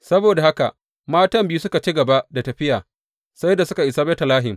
Saboda haka matan biyu suka ci gaba da tafiya sai da suka isa Betlehem.